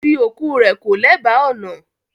Fi oku rẹ̀ ko lèba ọ̀nà!